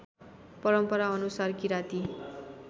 परम्परा अनुसार किराती